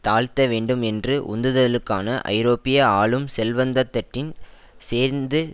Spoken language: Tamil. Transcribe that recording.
தாழ்த்த வேண்டும் என்று உந்துதலுக்கான ஐரோப்பிய ஆளும் செல்வந்தத்தட்டின் சேர்ந்து